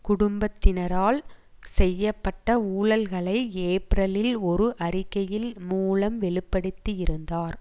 குடும்பத்தினரால் செய்ய பட்ட ஊழல்களை ஏப்ரலில் ஒரு அறிக்கையில் மூலம் வெளுப்படுத்தியிருந்தார்